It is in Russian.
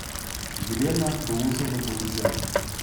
елена дулушевна павлюченко